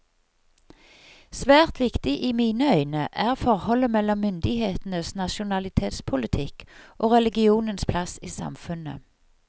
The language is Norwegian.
Svært viktig i mine øyne er forholdet mellom myndighetenes nasjonalitetspolitikk og religionens plass i samfunnet.